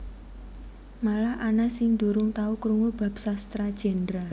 Malah ana sing durung tau krungu bab Sastra Jendra